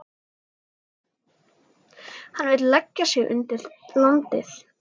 Hann vill leggja undir sig landið.